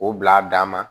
O bila a dan ma